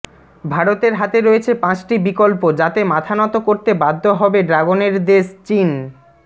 ভারতের হাতে রয়েছে পাঁচটি বিকল্প যাতে মাথানত করতে বাধ্য হবে ড্রাগনের দেশ চীন